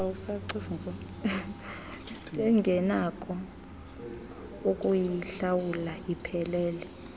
bengenakho ukuyihlawula iphelele